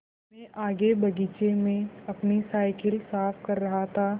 मैं आगे बगीचे में अपनी साईकिल साफ़ कर रहा था